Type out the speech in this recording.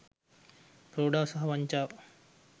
ප්‍රෝඩාව සහ වංචාව